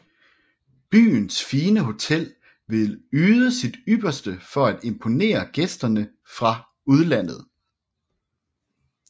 Byens fine hotel vil yde sit ypperste for at imponere gæsterne fra udlandet